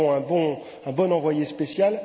Nous avons aussi un bon envoyé spécial.